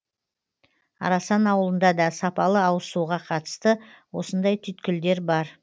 арасан ауылында да сапалы ауызсуға қатысты осындай түйткілдер бар